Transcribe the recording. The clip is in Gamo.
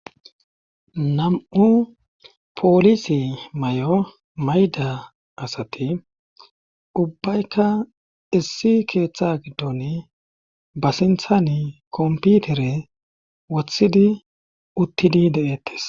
nam'u poolisi mayo mayda asati ubbayka issi keeththa giddon ba sinthani komputere wothidi uttidi de'ettes